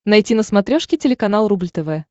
найти на смотрешке телеканал рубль тв